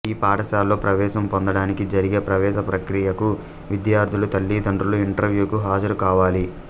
ఈ పాఠశాలలో ప్రవేశం పొందడానికి జరిగే ప్రవేశ ప్రక్రియకు విద్యార్థుల తల్లిదండ్రులు ఇంటర్వ్యూకు హాజరుకావాలి